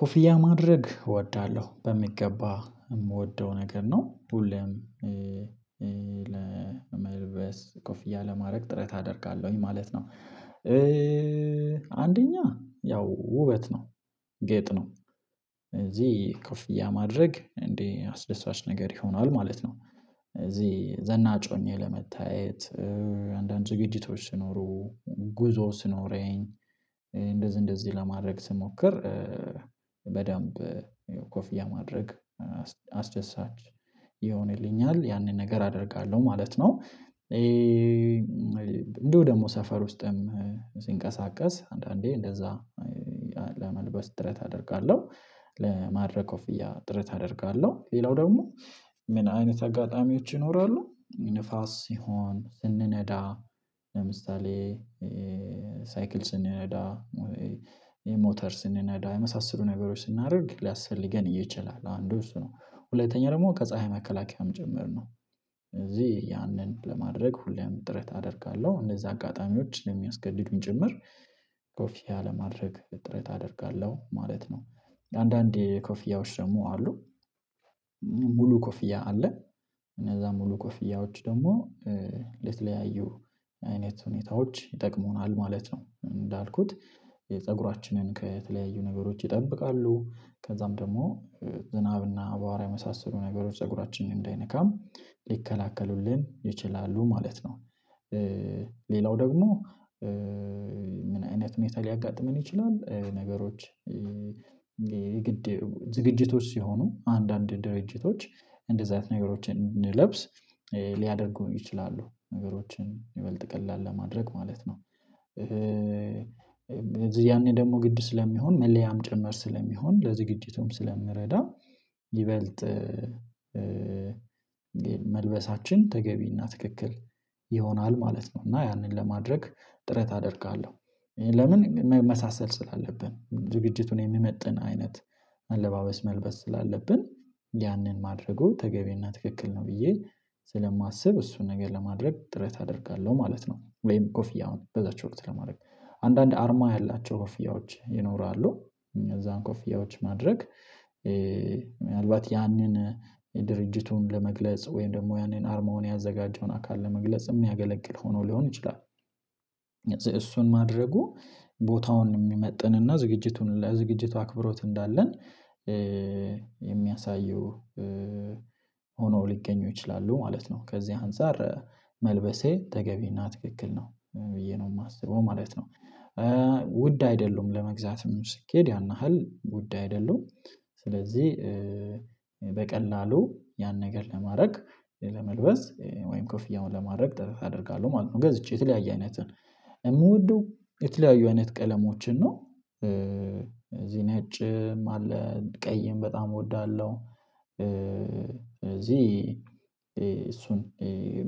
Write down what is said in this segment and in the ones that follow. ኮፍያ ማድረግ እወዳለሁ በሚገባ የምወደው ነገር ነው ሁሌም ለመልበስ ኮፍያ ለማድረግ ጥረት አደርጋለሁኝ ማለት ነው። አንደኛ ያው ውበት ነው ጌጥ ነው እዚህ ክፍያ እንዴ አስደሳች ነገር ይሆናል ማለት ነው። እዚህ ዘናጭ ሁኜ ለመታየት አንዳንድ ዝግጅቶች ሲኖሩ ጉዞ ሲኖረኝ እንደዚህ እንደዚህ ለማድረግ ስሞክር በደንብ ኮፍያ ማድረግ አስደሳች ይሆንልኛል ያንን ነገር አደርጋለሁ ማለት ነው። እንደው ደግሞ ሰፈር ውስጥም አንዳንዴ እንደዛ ለመልበስ ጥረት አደርጋለሁ ለማድረግ ኦፍያ ጥረት አደርጋለሁ ሌላው ደግሞ ምን አይነት አጋጣሚዎች ይኖራሉ ንፋስ ሲሆን ለምሳሌ ሳይክል ስንነዳ ሞተር ስንነዳ የመሳሰሉ ነገሮች ስናደርግ ሊያስፈልገን እየቻልን እንደው እሱ ነው ሁለተኛ ደግሞ ከፀሀይ መከላከያም ጭምር ነው። እዚህ ያንን ለማድረግ ሁሌም ጥረት አደርጋለሁ እንደዛ አጋጣሚዎችን ስሚያስገድዱኝ ጭምር ኮፊያ አለማድረግ ጥረት አደርጋለሁ ማለት ነው። አንዳንዴ ኮፊያዎች ደግሞ አሉ ሙሉ ኮፍያ አለ እነዛ ሙሉ ኮፍያዎች ደግሞ ለተለያዩ አይነት ሁኔታዎች ይጠቅመዋል ማለት ነው። እንዳልኩት የፀጉራችንን ከተለያዩ ነገሮች ይጠብቃሉ ከዛም ደግሞ ዝናብና አቧራ የመሳሰሉ ነገሮች ፀጉራችን እንዳይነካም ሊከለክሉልን ይችላሉ ማለት ነው። ሌላው ደግሞ ምን አይነት ምን ይላል ሊያጋጥመን ይችላል? ነገሮች የግድ ዝግጅቶች ሲሆኑ አንዳንድ ድርጅቶች እንደዚህ አይነት ነገሮችን እንለብስ ሊያደርጉ ይችላሉ ነገሮችን ይበልጥ ቀላል ለማድረግ ማለት ነው። ያኔ ደግሞ ግድ ስለሚሆን መለያም ጭምር ስለሚሆን ለዝግጅቱም ስለሚረዳ ይበልጥ መልበሳችን ተገቢና ትክክል ይሆናል ማለት ነው። እና ያንን ለማድረግ ጥረት አደርጋለሁ ለምን መመሳሰል ስላለብን ዝግጅቱን የሚመጥን አይነት አለባበስ መልበስ ስላለብን ያንን ማድረጉ ተገቢና ትክክል ነው ብዬ ስለማስብ እሱን ነገር ለማድረግ ጥረት አደርጋለሁ ማለት ነው። ወይም ኮፍያ በዛች ወቅት ለማድረግ አንዳንዴ አርማ ያላቸው ኮፍያዎች ይኖራሉ እነዛም ኮፍያዎች ማድረግ ምናልባት ያንን ድርጅቱን ለመግለጽ ወይም ደግሞ ያኔን አርማውን ያዘጋጀውን አካል ለመግለጽ የሚያገለግል ሆኖ ሊሆን ይችላል። እሱን ማድረጉ ቦታውን የሚመጥንና ዝግጅቱን ለዝግጅቱ አክብሮት እንዳለን የሚያሳየው ሆኖ ሊገኙ ይችላሉ ማለት ነው። ከዚህ አንፃር መልበሴ ተገቢና ትክክል ነው ብዬ ነው የማስበው ማለት ነው። ውድ አይደለም ለመግዛትም ስትሄድ ያን ያክል ጉዳይ አይደለም። ስለዚህ በቀላሉ ያን ነገር ለማድረግ ለመልበስ ወይም ክፍያ ለማድረግ ጠረጴዛ ያደርጋሉ ማለት ነው። ገዝቼ የተለያየ አይነትን የምወደው የተለያዩ አይነት ቀለሞችን ነው እዚህ ነጭ ማለት ቀይም በጣም እወዳለሁ። እዚህ እሱን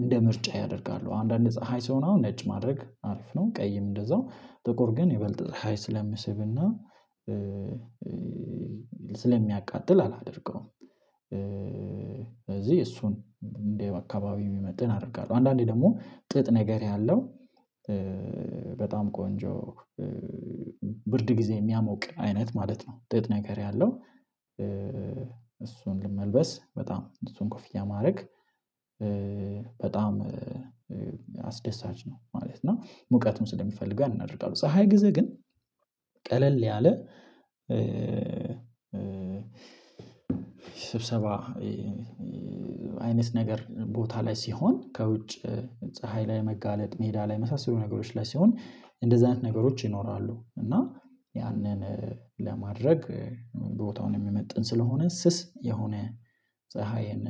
እንደ ምርጫየ አደርጋለሁ አንዳንድ ፀሀይ ሲሆን አሁን ነጭ ማድረግ አሪፍ ነው ቀይም እንደዛው ጥቁር ግን የበለጠ ፀሀይ ስለሚስብና ስለሚያቃጥል አላደርገውም። ስለዚህ እሱን እንደ አካባቢ የሚመጥን አደርጋለሁ አንዳንዴ ደግሞ ጥጥ ነገር ያለው በጣም ቆንጆ ብርድ ጊዜ የሚያሞቅ አይነት ማለት ነው። ውጤት ነገር ያለው እሱን ልመልበስ በጣም እሱን ኮፍያ ማድረግ በጣም አስደሳች ነው ማለት ነው። ሙቀቱን ስለምፈልገው አደርጋለሁ ፀሀይ ጊዜ ግን ቀለል ያለ ስብሰባ አይነት ነገር ቦታ ላይ ሲሆን ከውጭ ፀሀይ ላይ መጋለጥ ሜዳ ላይ መሳሰሉ ነገሮች ላይ ሲሆን እንደዚህ አይነት ነገሮች ይኖራሉ እና ያንን ለማድረግ ቦታውን የመጠን ስለሆነ ስስ የሆነ ፀሀይን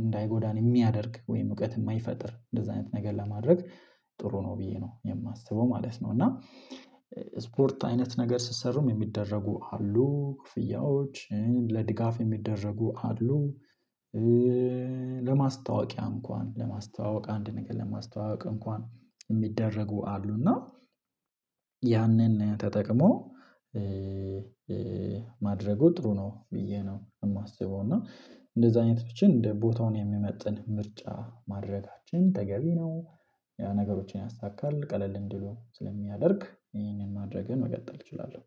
እንዳይጎዳን የሚያደርግ ወይም እውቀት የማይፈጥር እንደዚህ አይነት ነገር ለማድረግ ጥሩ ነው ብዬ ነው የማስበው ማለት ነው። እና ስፖርት አይነት ነገር ስትሰሩም የሚደረጉ አሉ ኮፍያዎች ለድጋፍ የሚደረጉ አሉ። ለማስታወቂያ እንኳን ለማስታወቂያ አንድ ነገር ለማስታወቂያ እንኳን የሚደረጉ አሉና ያንን ተጠቅሞ ማድረጉ ጥሩ ነው ብዬ ነው የማስበው እና እንደዛ አይነቶችን እንደ ቦታውን የሚመጥን ምርጫ ማድረጋችን ተገቢ ነው። ያ ነገሮችን ያሳካል ቀለል እንዲሉ ስለሚያደርግ ይሄንን ማድረግህን መቀጠል እችላለሁ